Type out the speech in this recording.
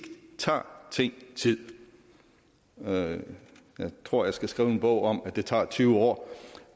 tager ting tid jeg tror jeg skal skrive en bog om at det tager tyve år